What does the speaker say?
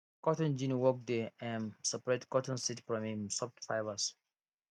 cotton gin work dey um separate cotton seeds from im soft fibres